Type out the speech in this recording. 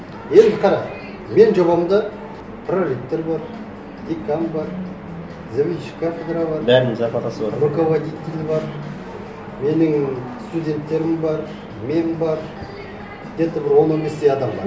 енді қара менің жобамда проректор бар декан бар заведующий кафедрой бар бәрінің зарплатасы бар руководитель бар менің студенттерім бар мен бар где то бір он он бес тей адам бар